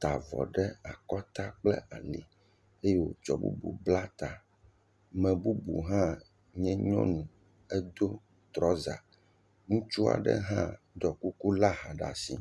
ta avɔ ɖe akɔta kple ali eye wòtsɔ bubu bla ta. Ame bubu hã nye nyɔnu. Edo trɔza. Ŋutsu aɖe hã ɖɔ kuku lé aha ɖe asi.